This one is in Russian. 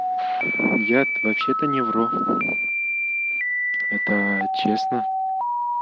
я вообще-то не вру это честно